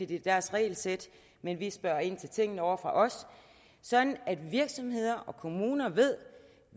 det er deres regelsæt men vi spørger ind til tingene ovre fra os sådan at virksomheder og kommuner ved